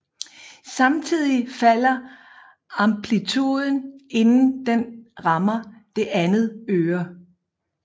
Samtidig falder amplituden inden den rammer det andet øre